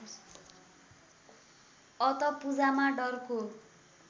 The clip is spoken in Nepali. अत पूजामा डरको